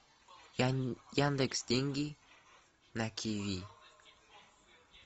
яндекс деньги на киви